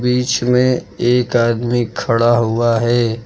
बीच में एक आदमी खड़ा हुआ है।